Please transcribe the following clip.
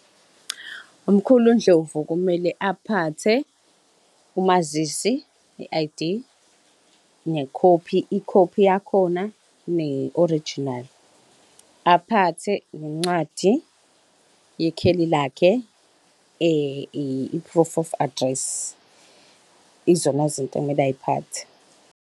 Umkhulu Ndlovu kumele aphathe umazisi, i-I_D nekhophi, ikhophi yakhona ne-orijinali, aphathe nencwadi yekheli lakhe i-proof of address. Izona zinto ekumele ay'phathe.